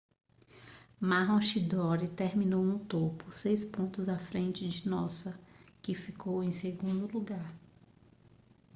maroochydore terminou no topo seis pontos à frente de noosa que ficou em segundo lugar